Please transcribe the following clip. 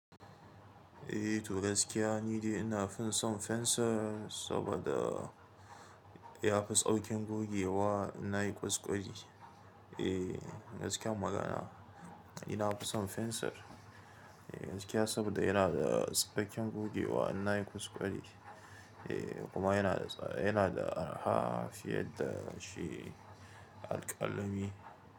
Eh to gaskiya ni dai ina fi son fensir saboda ya fi tsaukin gogewa ina yi kuskure. Eh gaskiyar magana ni na fi son fensir gaskiya saboda yana da saukin gogewa ina yi kuskure kuma yana da, yana da araha fiye da shi alƙalami.